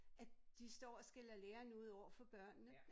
At de står og skælder læreren ud overfor børnene